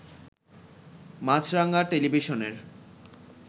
মাছরাঙ্গা টেলিভিশনের